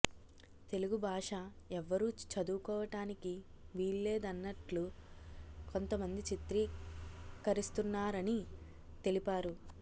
తెలుగు భాష ఎవ్వరూ చదువుకోవటానికి వీల్లేదన్నట్లు కొంతమంది చిత్రకరిస్తున్నారని తెలిపారు